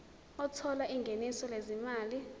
othola ingeniso lezimali